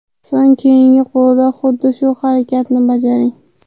So‘ng keyingi qo‘lda xuddi shu harakatni bajaring.